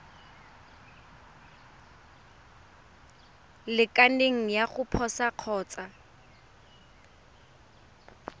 lekaneng ya go posa kgotsa